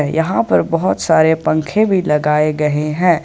यहां पर बहुत सारे पंखे भी लगाए गए हैं।